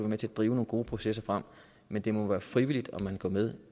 med til at drive nogle gode processer frem men det må være frivilligt om man går med